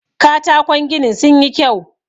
katako ginin sun yi kyau